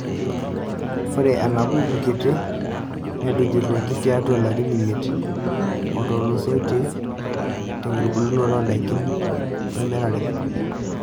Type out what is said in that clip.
Ore enambuku kitii netujuruoki tiatwa ilarin imiet oo tulusoitie tenkitubulunoto oo ndaikin wemirare.